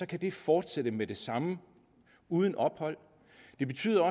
kan det fortsætte med det samme uden ophold det betyder